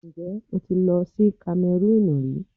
Ǹjẹ́ o ti lọ sí Kamẹrúùnù rí?